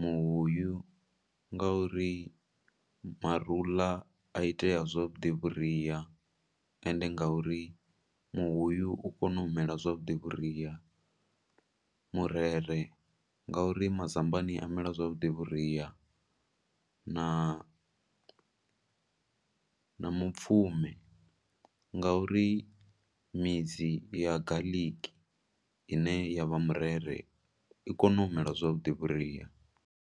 Muhuyu nga uri marula a itea zwa vhuḓi vhuria, ende nga uri muhuyu u kona mela zwavhuḓi vhuria. Murere, ngo uri mazambane a mela zwavhuḓi vhuria na mupfumi nga uri midzi ya garlic ine ya vha murere, i kona u mela zwavhuḓi vhuria.